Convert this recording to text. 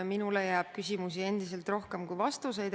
Minule jääb endiselt küsimusi rohkem kui vastuseid.